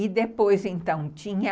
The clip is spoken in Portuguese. E depois, então, tinha...